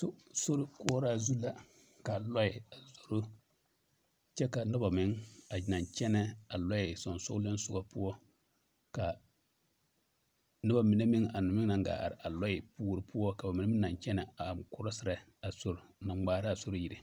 To sorikoɔraa zu la ka lɔɛ a zoro kyɛ ka nobɔ meŋ a naŋ kyɛnɛ a lɔɛ soŋsogliŋsogɔ poɔ ka nobɔ mine meŋ a meŋ naŋ gaa are a lɔɛ puore poɔ ka ba mine meŋ naŋ kyɛnɛ a korɔserɛ a sori naŋ ŋmaaraa sori yire.